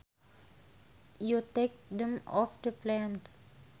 you take them off the plant